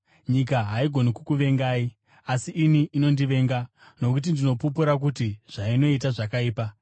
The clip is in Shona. Nyika haigoni kukuvengai, asi ini inondivenga nokuti ndinopupura kuti zvainoita zvakaipa.